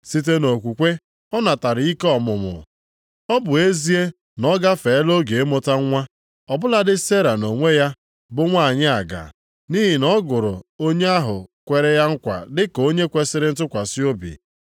Site nʼokwukwe ọ natara ike ọmụmụ. Ọ bụ ezie na ọ gafeela oge ịmụta nwa, ọ bụladị Sera nʼonwe ya bụ nwanyị aga, nʼihi na ọ gụrụ onye ahụ kwere ya nkwa dị ka onye kwesiri ntụkwasị obi.